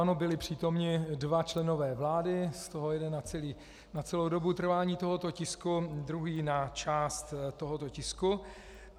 Ano, byli přítomni dva členové vlády, z toho jeden na celou dobu trvání tohoto tisku, druhý na část tohoto tisku.